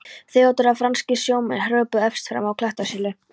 THEODÓRA: Franskir sjómenn hröpuðu efst fram af klettasyllu.